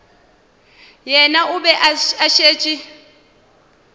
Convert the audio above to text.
yena o be a šetše